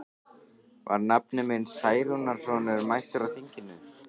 Var nafni minn Særúnarson mættur á þinginu?